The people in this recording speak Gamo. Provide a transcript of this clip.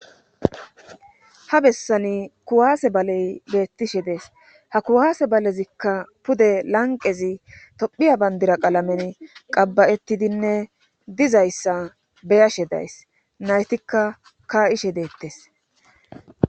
ha bessani kuwaase balee beettishe des ha kuwaase balezikka pude lanqqezitophiya banddira qalameni qabba7ettidinne dizayssa be7ashe days naytika kaa7ishe deetes